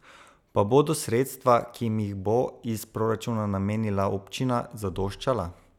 Pa bodo sredstva, ki jim jih bo iz proračuna namenila občina, zadoščala?